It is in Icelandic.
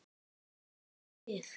Hún hrekkur við.